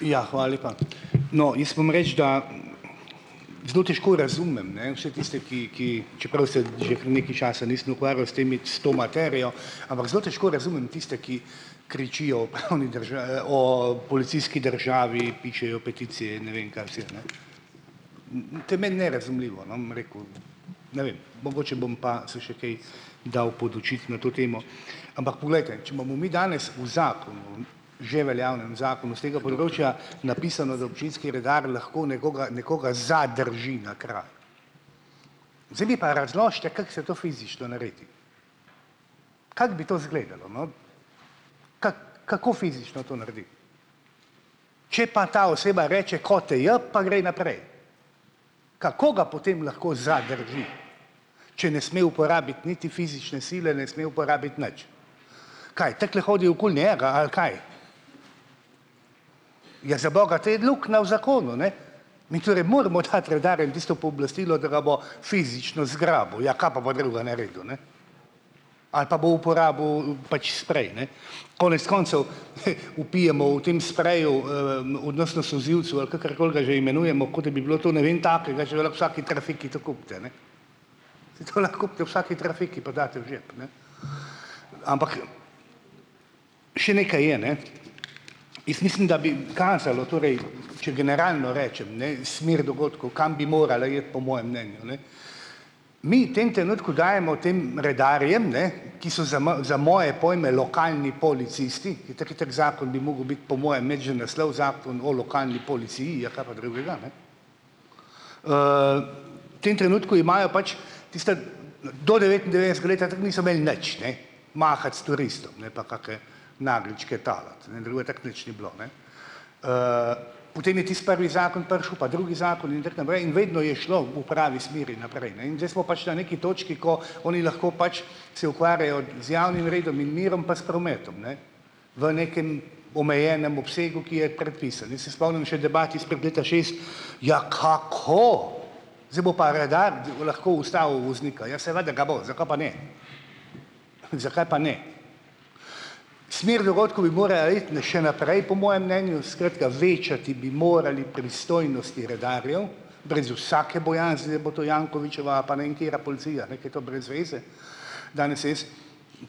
Ja, lepa. No, jaz moram reči, da zelo težko razumem, ne, vse tiste ki, ki, čeprav se že kar nekaj časa nisem ukvarjal s temi, s to materijo, ampak zelo težko razumem tiste, ki kričijo o o policijski državi, pišejo peticije in ne vem, kaj vse, a ne. To je meni nerazumljivo, ne bom rekel. Ne vem, mogoče bom pa se še kaj dal podučiti na to temo. Ampak poglejte, če imamo mi danes v zakonu, že veljavnem zakonu s tega področja napisano, da občinski redar lahko nekoga nekoga zadrži na kraju, zdaj mi pa razložite, kako se to fizično naredi. Kako bi to izgledalo, no? Ke kako fizično to naredi? Če pa ta oseba reče, ko te je, pa gre naprej. Kako ga potem lahko zadrži, če ne sme uporabiti niti fizične sile, ne sme uporabiti nič? Kaj, takole hodi okoli njega, ali kaj? Ja, zaboga, te je luknja v zakonu, ne. Mi moramo dati redarjem tisto pooblastilo, da ga bo fizično zgrabil, ja ka pa bo drugega naredil, ne. Ali pa bo uporabil pač sprej, ne. Konec koncev, vpijemo o tem spreju solzivcu, ali kakorkoli ga že imenujemo, kot da bi bilo to ne vem takega, že lahko v vsaki trafiki to kupite, ne. Saj to lahko kupite v vsaki trafiki pa daste v žep, ne. Ampak, še nekaj je, ne. Jaz mislim, da bi kazalo torej, če generalno rečem, ne, smer dogodkov, kam bi morala iti po mojem mnenju, ne. Mi tem trenutku dajemo tem redarjem, ne, ki so za za moje pojme lokalni policisti, itak je tak zakon bi mogel biti po mojem imeti že naslov "zakon o lokalni policiji", ja kaj pa drugega, ne. Tem trenutku imajo pač tista, do devetindevetdesetega leta tako niso imeli nič, ne, mahati s turistom, ne, pa kake nageljčke talati, ne, drugo tako nič ni bilo, ne. Potem je tisti prvi zakon prišel, pa drugi zakon in tako naprej in vedno je šlo v pravi smeri naprej, ne, in zdaj smo pač na neki točki, ko oni lahko pač se ukvarjajo z javnim redom in mirom, pa s prometom, ne, v nekem omejenem obsegu, ki je predpisan, jaz se spomnim še debat izpred leta šest, ja kako? Zdaj bo pa redar lahko ustavil voznika, ja, seveda ga bo, zakaj pa ne? Zakaj pa ne? Smer dogodkov bi iti še naprej po mojem mnenju, skratka večati bi morali pristojnosti redarjev brez vsake bojazni, da bo to Jankovićeva pa ne vem katera policija, ne, ke je to brez veze. Danes se jaz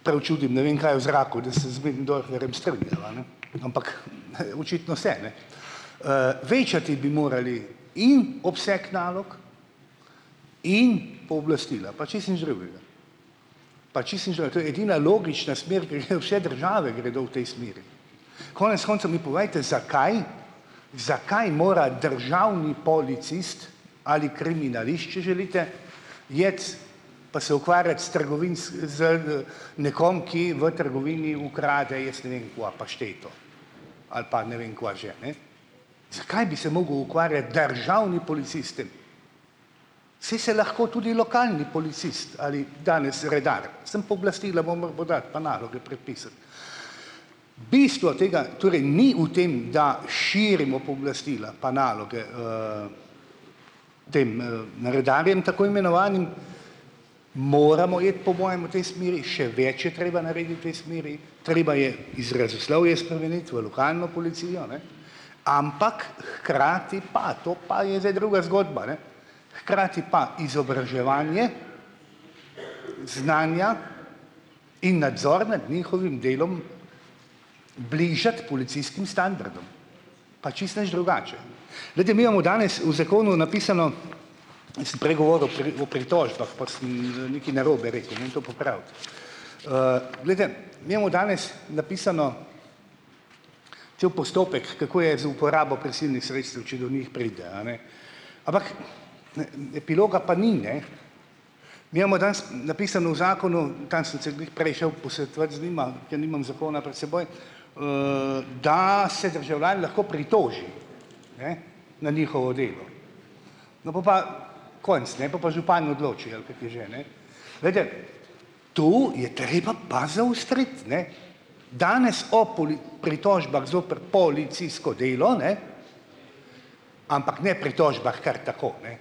prav čudim, ne vem kaj je v zraku, da se z Möderndorferjem strinjava, ne, ampak, očitno se, ne. Večati bi morali in obseg nalog in pooblastila, pa čisto nič drugega. To je edina logična smer prihe, vse države gredo v tej smeri. Konec koncev mi povejte, zakaj, zakaj mora državni policist ali kriminalist, če želite iti, pa se ukvarjati s z da nekom, ki v trgovini ukrade jaz ne vem kva, pašteto, ali pa ne vem kva že, ne. Zakaj bi se mogel ukvarjati državni policist s tem? Saj se lahko tudi lokalni policist ali danes redar, samo pooblastila pa naloge prepisati. Bistvo tega torej ni v tem, da širimo pooblastila, pa naloge tem, redarjem tako imenovanim. Moramo iti po mojem v tej smeri, še več je treba v tej smeri, treba je izrazoslovje spremeniti v lokalno policijo, ne, ampak hkrati pa, to pa je zdaj druga zgodba, ne, hkrati pa izobraževanje, znanja in nadzor nad njihovim delom bližati policijskim standardom, pa čisto nič drugače. Glejte, mi imamo danes v zakonu napisano, jaz sem prej govoril o pritožbah, pa sem nekaj narobe rekel. Glejte, mi imamo danes napisano, če bo postopek, kako je z uporabo prisilnih sredstev, če do njih pride, a ne. Ampak epiloga pa ni, ne. Mi imamo danes napisano v zakonu, sem se glih prej šel posvetovati z njima, ker nimam zakona pred seboj, da se državljan lahko pritoži, ne, na njihovo delo. No, pol pa konec, ne, pol pa župan odloči ali kako je že, ne. Glejte, to je treba pa zaostriti, ne. Danes o pritožbah zoper policijsko delo, ne, ampak ne pritožbah kar tako, ne.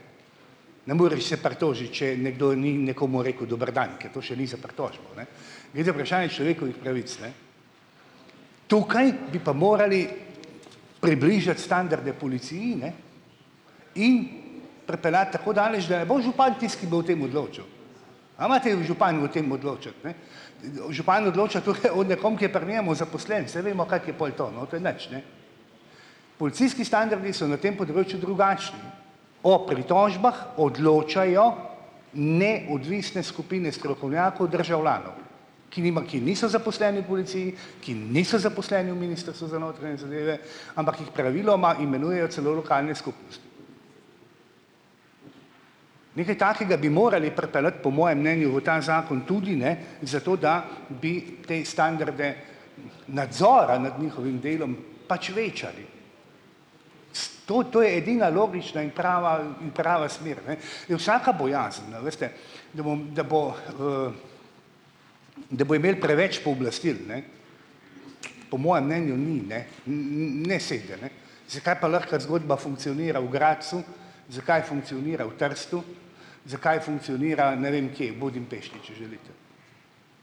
Ne moreš se pritožiti, če je nekdo ni nekomu rekel "dober dan", ker to še ni za pritožbo, ne. Gre za vprašanje človekovih pravic, ne. Tukaj bi pa morali približati standarde policiji, ne, in pripeljati tako daleč, da je bo župan tisti, ki bo o tem odločal. A imate v župan o tem odločati, ne. Župan odloča tohe o nekom, ki je pri njem zaposlen, saj vemo, kako je pol to, no, to je nič, ne. Policijski standardi so na tem področju drugačni, o pritožbah odločajo neodvisne skupine strokovnjakov, državljanov, ki ki niso zaposleni v policiji, ki niso zaposleni v Ministrstvu za notranje zadeve, ampak jih praviloma imenujejo celo lokalne skupnosti. Nekaj takega bi morali pripeljati, po mojem mnenju, v ta zakon tudi, ne, zato, da bi te standarde nadzora nad njihovim delom pač večali. To to je edina logična in prava in prava smer, ne. Je vsaka bojazen, a veste, da bom, da bo, da bo imel preveč pooblastil, ne, po mojem mnenju ni, ne, ne sede, ne. Zakaj pa lahko kot zgodba funkcionira v Gradcu, zakaj funkcionira v Trstu, zakaj funkcionira, ne vem kje, Budimpešti, če želite.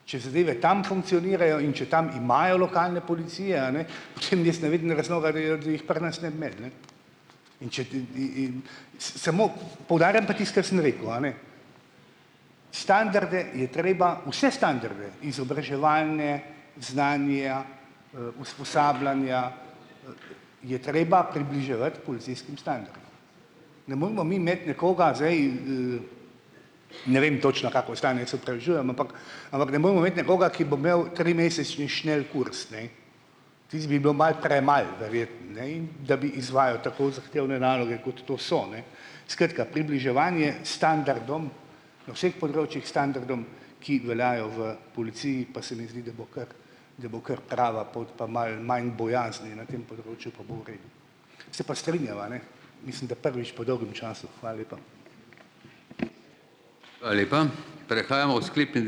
Če zadeve tam funkcionirajo, in če tam imajo lokalne policije, a ne, Samo poudarjam pa tisto, kar sem rekel, a ne, standarde je treba, vse standarde, izobraževalne, znanje, usposabljanja je treba približevati policijskim Ne moramo mi imeti nekoga zdaj, ne vem točno, kako je stanje, jaz se opravičujem, ampak nekoga, ki bo imel trimesečni šnelkurs, ne, tisto bi bilo malo premalo verjetno, ne, in da bi izvajal tako zahtevne naloge, kot to so, ne. Skratka, približevanje standardom na vseh področjih, standardom, ki veljajo v policiji, pa se mi zdi, da bo kar, da bo kar prava pot pa malo manj bojazni na tem področju, pa bo v redu. Se pa strinjava, ne, mislim, da prvič po dolgem času. lepa.